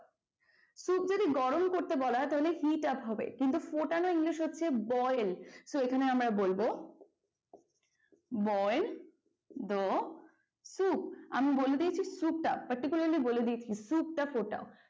soup যদি গরম করতে বলা হয় তাহলে hitup হবে। কিন্তু ফোটানো english হচ্ছে boil so এখানে আমরা বলব boil the soup আমি বলে দিয়েছি soup টা particulari বলে দিয়েছি soup টা ফোটাও।